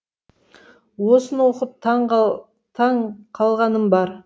осыны оқып таң қалғаным бар